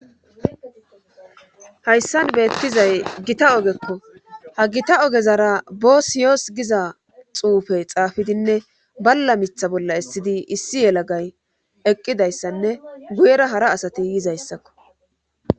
hayssan beettizay gita ogekko ha gita ogezara boosi yoos giza xuufey xaafidinne balla mitha bolla issidi issi yelagay eqqidayssanne guyera hara asati yizayssakko